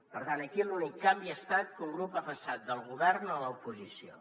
per tant aquí l’únic canvi ha estat que un grup ha passat del govern a l’oposició